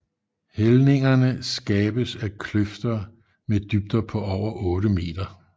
Hældningerne skabes af kløfter mmed dybder på over 8 meter